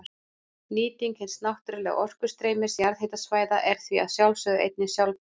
Nýting hins náttúrlega orkustreymis jarðhitasvæða er því að sjálfsögðu einnig sjálfbær.